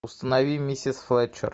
установи миссис флетчер